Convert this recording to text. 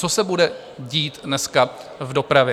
Co se bude dít dneska v dopravě?